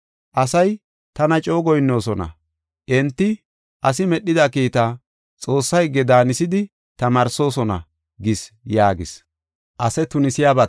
Asay tana coo goyinnoosona; enti asi medhida kiitaa Xoossaa higge daanisidi tamaarsoosona’ gis” yaagis.